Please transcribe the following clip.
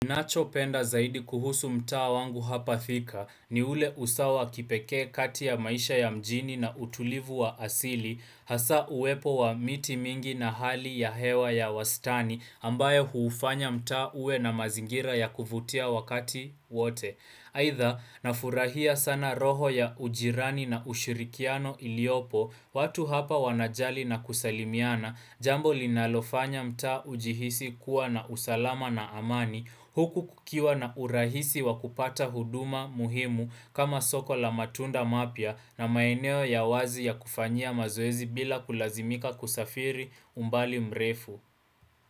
Ninacho penda zaidi kuhusu mtaa wangu hapa thika ni ule usawa wa kipekee kati ya maisha ya mjini na utulivu wa asili hasa uwepo wa miti mingi na hali ya hewa ya wastani ambaye huufanya mtaa uwe na mazingira ya kuvutia wakati wote Haidha na furahia sana roho ya ujirani na ushirikiano iliopo watu hapa wanajali na kusalimiana Jambo linalofanya mtaa ujihisi kuwa na usalama na amani huku kukiwa na urahisi wa kupata huduma muhimu kama soko la matunda mapya na maeneo ya wazi ya kufanya mazoezi bila kulazimika kusafiri umbali mrefu.